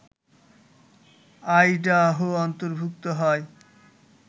Idaho অন্তর্ভুক্ত হয়